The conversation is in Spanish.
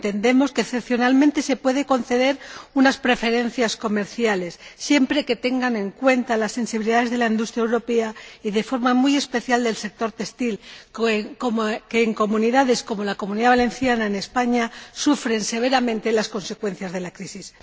entendemos que excepcionalmente se pueden conceder unas preferencias comerciales siempre que tengan en cuenta las sensibilidades de la industria europea, y de forma muy especial del sector textil, que en regiones como la Comunidad Valenciana, en España, sufre severamente las consecuencias de la crisis.